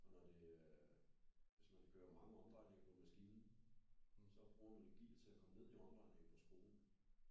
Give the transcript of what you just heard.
Og når det er øh hvis man kører mange omdrejninger på maskinen så bruger man jo gear til at komme ned i omdrejninger på spolen